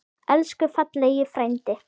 Elsku fallegi frændi.